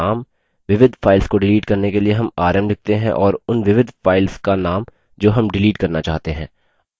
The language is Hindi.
विविध files को डिलीट करने के लिए rm rm लिखते हैं और उन विविध files का name जो rm डिलीट करना चाहते हैं